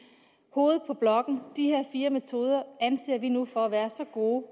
hovedet på blokken de her fire metoder anser vi nu for at være så gode